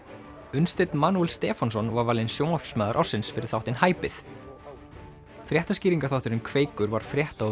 Unnsteinn Stefánsson var valinn sjónvarpsmaður ársins fyrir þáttinn hæpið fréttaskýringaþátturinn Kveikur var frétta og